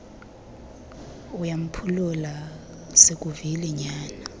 uyamphulula sikuvile nyana